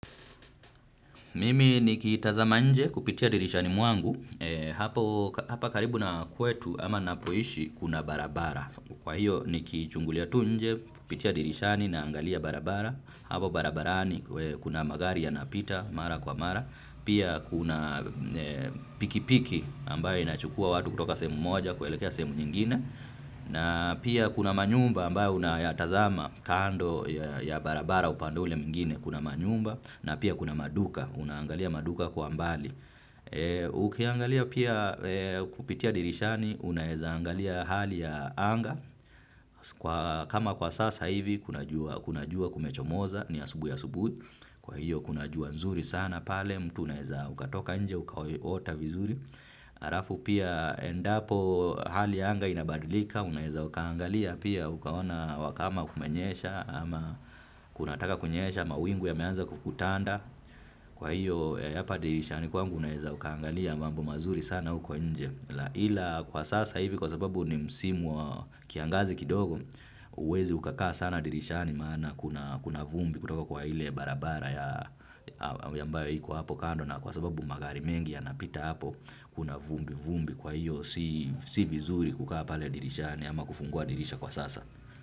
Mimi nikitazama nje kupitia dirishani mwangu, hapa karibu na kwetu ama napoishi kuna barabara. Kwa hiyo nikichungulia tunje, kupitia dirishani na angalia barabara, hapo barabarani kuna magari ya napita mara kwa mara, pia kuna pikipiki ambaye inachukua watu kutoka semu moja kuelekea semu nyingine, na pia kuna manyumba ambayo unayatazama kando ya barabara upande ule mwingine kuna manyumba, na pia kuna maduka, unaangalia maduka kwa mbali. Ukiangalia pia kupitia dirishani, unaezaangalia hali ya anga. Kama kwa sasa hivi, kuna jua kumechomoza ni asubuhi asubu. Kwa hiyo kuna jua nzuri sana pale, mtu unaeza ukatoka nje, ukaota vizuri. Alafu pia endapo hali ya anga inabadilika unaeza ukaangalia pia, ukaona wakama kumenyesha ama kunataka kunyesha mawingu ya meanza kukutanda kwa hiyo hapa dirishani kwangu unaeza ukaangalia mambo mazuri sana huko nje la ila kwa sasa hivi kwa sababu ni msimu wa kiangazi kidogo huwezi ukakaa sana dirishani maana kuna kuna vumbi kutoka kwa hile barabara ambayo iko hapo kando na kwa sababu magari mengi ya napita hapo kuna vumbi vumbi kwa hiyo si vizuri kukaa pale dirishani ama kufungua dirisha kwa sasa.